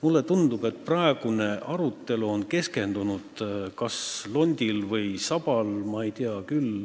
Mulle tundub, et praegune arutelu on keskendunud kas londile või sabale.